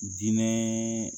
Diinɛ